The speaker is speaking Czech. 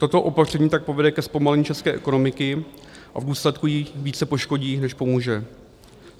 Toto opatření tak povede ke zpomalení české ekonomiky a v důsledku ji více poškodí než pomůže.